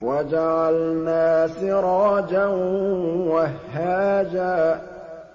وَجَعَلْنَا سِرَاجًا وَهَّاجًا